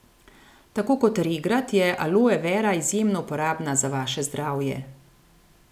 Tako kot regrat je aloe vera izjemno uporabna za vaše zdravje.